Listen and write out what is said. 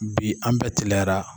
Bi an bɛ teliyara.